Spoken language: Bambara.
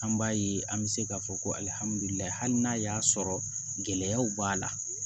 An b'a ye an bɛ se k'a fɔ ko alihamudulilayi hali n'a y'a sɔrɔ gɛlɛyaw b'a la